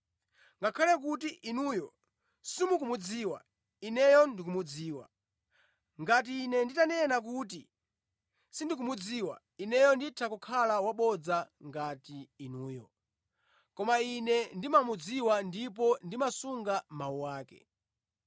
Ngakhale kuti inuyo simukumudziwa, Ineyo ndikumudziwa. Ngati Ine nditanena kuti sindikumudziwa, Ineyo nditha kukhala wabodza ngati inuyo, koma Ine ndimamudziwa ndipo ndimasunga mawu ake.